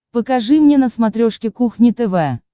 покажи мне на смотрешке кухня тв